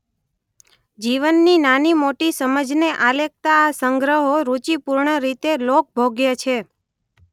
જીવનની નાની-મોટી સમજને આલેખતા આ સંગ્રહો રુચિપૂર્ણ રીતે લોકભોગ્ય છે.